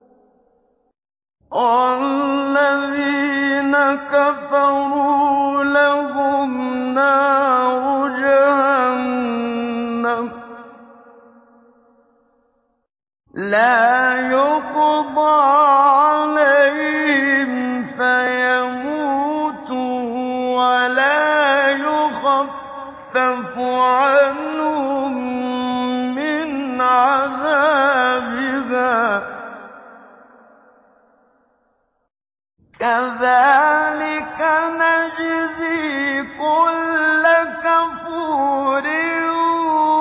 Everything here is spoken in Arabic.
وَالَّذِينَ كَفَرُوا لَهُمْ نَارُ جَهَنَّمَ لَا يُقْضَىٰ عَلَيْهِمْ فَيَمُوتُوا وَلَا يُخَفَّفُ عَنْهُم مِّنْ عَذَابِهَا ۚ كَذَٰلِكَ نَجْزِي كُلَّ كَفُورٍ